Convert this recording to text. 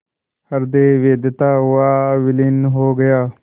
हृदय वेधता हुआ विलीन हो गया